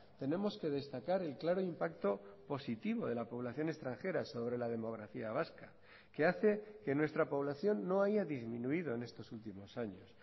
tenemos que destacar el claro impacto positivo de la población extranjera sobre la demografía vasca que hace que nuestra población no haya disminuido en estos últimos años